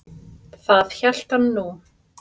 Það hélt hann nú.